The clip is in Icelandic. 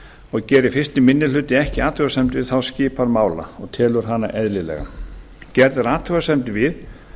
og gerir fyrsti minni hluti ekki athugasemd við þá skipan mála og telur hana eðlilega gerð er athugasemd við